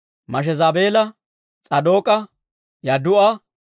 Mashezaabeela, S'aadook'a, Yadduu'a,